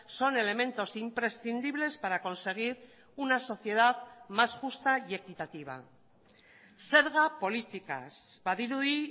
son elementos imprescindibles para conseguir una sociedad más justa y equitativa zerga politikaz badirudi